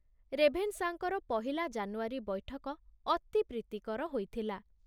ରେଭେନଶାଙ୍କର ପହିଲା ଜାନୁଆରୀ ବୈଠକ ଅତି ପ୍ରୀତିକର ହୋଇଥିଲା।